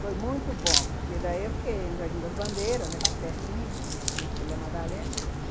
Foi muito bom, porque daí eu fiquei no Jardim das Bandeiras, aqui pertinho, substituindo o Madalena.